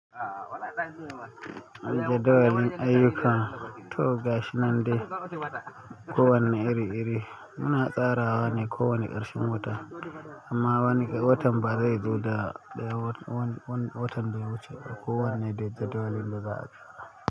Jadawalin ayyuka toh gashi nan dai ko wane iri-iri muna tsarawa ne kowane ƙarshen wata amma wani watan ba zai zo da wan watan ba ya wuce ba ko wanne da jadawalin da za a yi,